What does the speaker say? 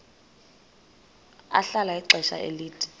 ahlala ixesha elide